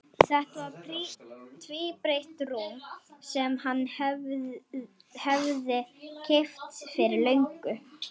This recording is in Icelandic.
Þetta var tvíbreitt rúm sem hann hafði keypt fyrir löngu.